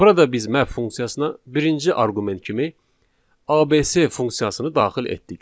Burada biz map funksiyasına birinci arqument kimi ABS funksiyasını daxil etdik.